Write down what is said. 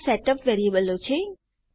તો આ સેટઅપ વેરીએબલો છે